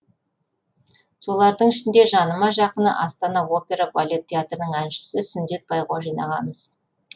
солардың ішінде жаныма жақыны астана опера балет театрының әншісі сүндет байғожин ағамыз